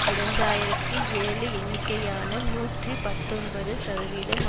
இரண்டு ஆயிரத்தி ஏழு எண்ணிக்கையான நூற்றி பத்தொன்பது சதவீதம்